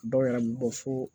Dɔw yɛrɛ bɛ bɔ fo